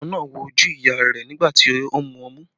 Ọmọ náà wo ojú ìyá rẹ̀ nígbà tí ó ń mú ọmú